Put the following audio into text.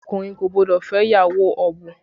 Ọkùnrin kò gbọ́dọ̀ fẹ́ ìyàwó ọ̀bùn